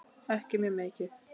Ekki mjög mikið.